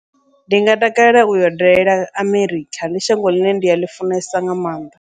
Ndi nga takalela uyo dalela Amerikha, ndi shango ḽine nda ḽi funesa nga maanḓa.